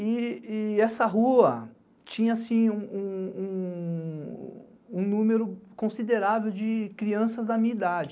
E essa rua tinha assim um número considerável de crianças da minha idade.